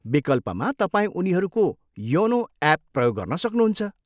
विकल्पमा, तपाईँ उनीहरूको योनो एप प्रयोग गर्न सक्नुहुन्छ।